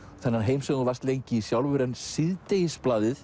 þennan heim sem þú varst lengi í sjálfur en